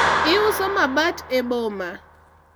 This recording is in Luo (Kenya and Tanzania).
iuso mabat e boma